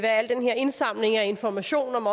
al den her indsamling af information om